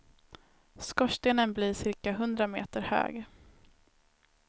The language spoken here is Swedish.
Skorstenen blir cirka hundra meter hög.